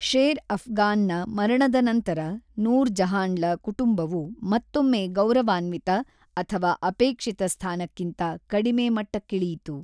Share ಅಫ್ಗಾನ್‌ನ ಮರಣದ ನಂತರ, ನೂರ್ ಜಹಾನ್‌ಳ ಕುಟುಂಬವು ಮತ್ತೊಮ್ಮೆ ಗೌರವಾನ್ವಿತ ಅಥವಾ ಅಪೇಕ್ಷಿತ ಸ್ಥಾನಕ್ಕಿಂತ ಕಡಿಮೆ ಮಟ್ಟಕ್ಕಿಳಿಯಿತು.